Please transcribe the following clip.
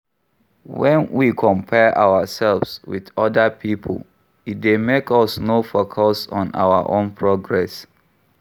When we compare ourselves with oda pipo, e dey make us no focus on our own progress